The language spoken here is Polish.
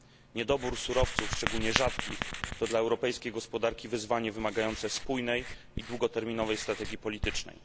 Niedobór surowców, szczególnie rzadkich, to dla europejskiej gospodarki wyzwanie wymagające spójnej i długoterminowej strategii politycznej.